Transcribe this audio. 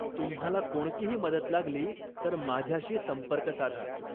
तुम्हाला कोणतीही मदत लागली तर माझ्याशी संपर्क साधा.